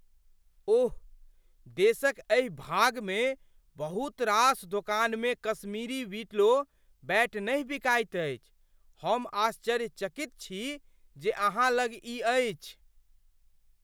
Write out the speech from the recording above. ओह! देशक एहि भागमे बहुत रास दोकानमे कश्मीरी विलो बैट नहि बिकाइत अछि। हम आश्चर्यचकित छी जे अहाँ लग ई अछि।